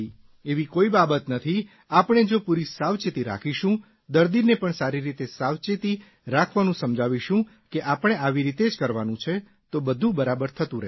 એવી કોઇ બાબત નથી આપણે જો પૂરી સાવચેતી રાખીશું દર્દીને પણ સારી રીતે સાવચેતી રાખવાનું સમજાવશું કે આપણે આવી રીતે જ કરવાનું છે તો બધું બરાબર થતું રહેશે